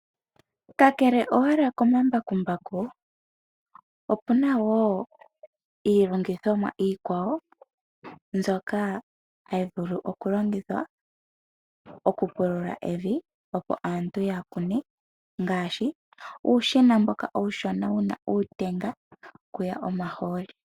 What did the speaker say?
Kakele owala komambakumbaku opuna wo iilongithomwa iikwawo mbyoka hayi vulu oku longithwa oku pulula evi, opo aantu ya kune ngaashi uushina mboka uushona wuna uutenga wo kuya omahooli